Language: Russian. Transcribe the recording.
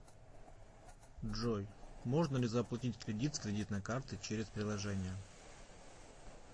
джой можно ли заплатить кредит с кредитной карты через приложение